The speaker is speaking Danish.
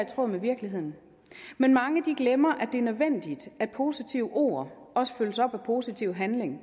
tråd med virkeligheden men mange glemmer at det er nødvendigt at positive ord også følges op af positive handlinger